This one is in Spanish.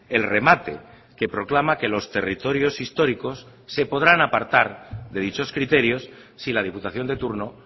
el remate que proclama que los territorios históricos se podrán apartar de dichos criterios si la diputación de turno